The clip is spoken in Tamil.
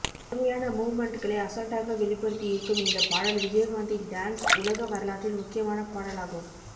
கடுமையான மூவ்மெண்ட்களை அசால்டாக வெளிப்படுத்தி இருக்கும் இந்த பாடல் விஜயகாந்தின் டான்ஸ் உலக வரலாற்றில் முக்கியமான பாடல் ஆகும்